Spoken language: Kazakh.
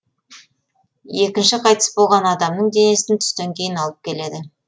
екінші қайтыс болған адамның денесін түстен кейін алып келеді